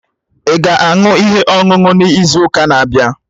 Ị ga-aṅụ ihe ọṅụṅụ n'izu ụka na-abịa?